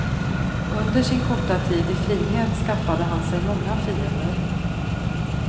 Under sin korta tid i frihet skaffade han sig många fiender.